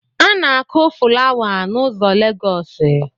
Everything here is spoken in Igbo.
A na-akụ fụlawa n’ụzọ Legosi